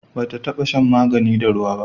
ba ta taba shan magani da ruwa ba